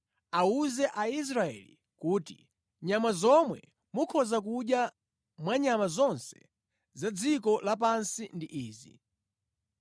“Awuze Aisraeli kuti, ‘Nyama zomwe mukhoza kudya mwa nyama zonse za dziko lapansi ndi izi: